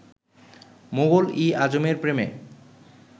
মোগল ই আযমের প্রেমে